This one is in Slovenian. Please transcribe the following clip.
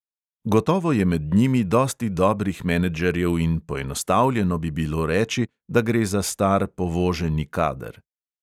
Gotovo je med njimi dosti dobrih menedžerjev in poenostavljeno bi bilo reči, da gre za star povoženi kader.